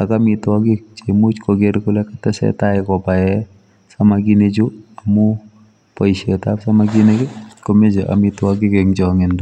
ak amitwagiik cheimuuch koger kole kotesetai kobaen samakinik chuu amuun boiset ab samakinik komae amitwagiik en changindoo.